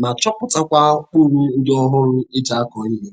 ma chọpụtakwa ụkpụrụ ndị ọhụrụ e ji akọ ihe.